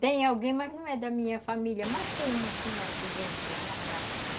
Tem alguém, mas não é da minha família, mas tem uma senhora que vende lá na praça.